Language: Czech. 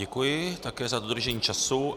Děkuji, také za dodržení času.